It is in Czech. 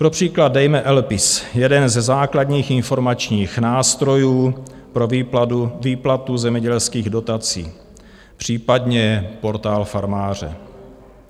Pro příklad dejme LPIS, jeden ze základních informačních nástrojů pro výplatu zemědělských dotací, případně Portál farmáře.